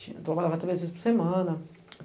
Trabalhava três vezes por semana.